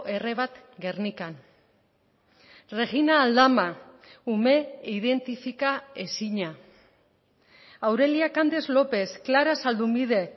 erre bat gernikan regina aldama ume identifika ezina aurelia candes lópez clara zaldumbide